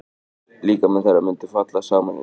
Líkami þeirra mundi falla saman undir þvílíku álagi.